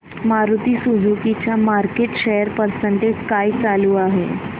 Maruti Suzuki चा market share percentage काय चालू आहे